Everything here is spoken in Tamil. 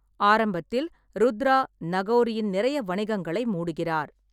ஆரம்பத்தில், ருத்ரா நகோரியின் நிறைய வணிகங்களை மூடுகிறார்.